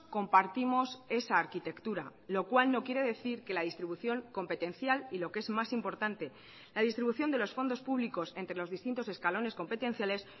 compartimos esa arquitectura lo cual no quiere decir que la distribución competencial y lo que es más importante la distribución de los fondos públicos entre los distintos escalones competenciales